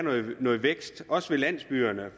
noget vækst også ved landsbyerne